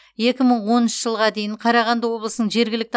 екі мың оныншы жылға дейін қарағанды облысының жергілікті